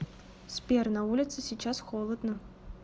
сбер на улице сейчас холодно